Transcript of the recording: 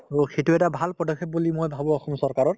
to সিটো এটা ভাল পদক্ষেপ বুলি মই ভাবো অসম চৰকাৰৰ